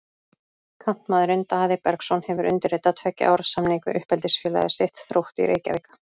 Kantmaðurinn Daði Bergsson hefur undirritað tveggja ára samning við uppeldisfélag sitt, Þrótt í Reykjavík.